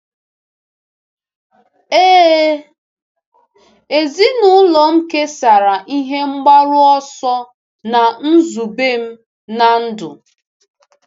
Ee, ezinụlọ m kesara ihe mgbaru ọsọ na nzube m na ndụ.